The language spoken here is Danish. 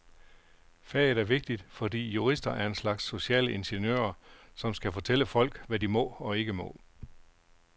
Faget er vigtigt, fordi jurister er en slags sociale ingeniører, som skal fortælle folk, hvad de må og ikke må.